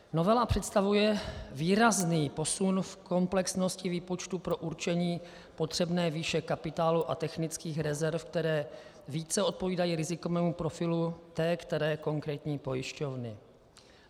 Novela představuje výrazný posun v komplexnosti výpočtu pro určení potřebné výše kapitálu a technických rezerv, které více odpovídají rizikovému profilu té které konkrétní pojišťovny.